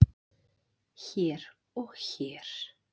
hér og hér